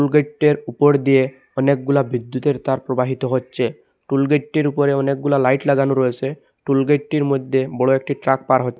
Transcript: উপর দিয়ে অনেকগুলা বিদ্যুতের তার প্রবাহিত হচ্ছে টুলগেটটির উপরে অনেকগুলো লাইট লাগানো রয়েছে টুলগেটটির মধ্যে বড় একটি ট্রাক পার হ্--